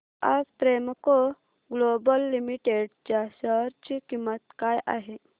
आज Premco global limited च्या share ची किंमत काय आहे